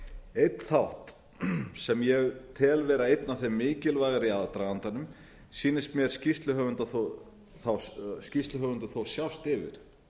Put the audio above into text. einn þátt sem ég tel vera einn af þeim mikilvægari í aðdragandanum sýnist mér skýrsluhöfundar þó sjást yfir